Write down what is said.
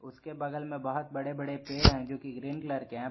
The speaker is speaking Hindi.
उसके बगल में बहुत बड़े बड़े पेड़ है जोकि ग्रीन कलर के है।